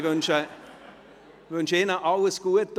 Ich wünsche Ihnen alles Gute.